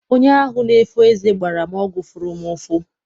Onye ahụ na-efo eze gbara m ọgwụ fụrụ m ụfụ.